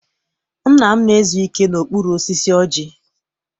Nna m na-ezu ike n'okpuru osisi ọjị.